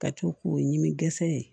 Ka to k'o ɲimi kɛsɛ